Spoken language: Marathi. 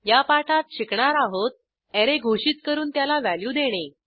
या पाठात शिकणार आहोत अरे घोषित करून त्याला व्हॅल्यू देणे